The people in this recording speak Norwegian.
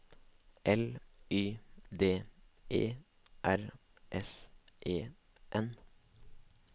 L Y D E R S E N